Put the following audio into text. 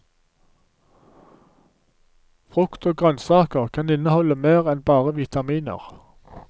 Frukt og grønnsaker kan inneholde mer enn bare vitaminer.